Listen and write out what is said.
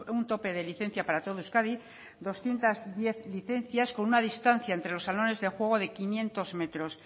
un tope de licencia para todo euskadi doscientos diez licencias con una distancia entre los salones de juego de quinientos metros